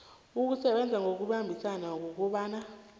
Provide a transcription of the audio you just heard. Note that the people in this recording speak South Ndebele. ukusebenza ngokubambisana ukobana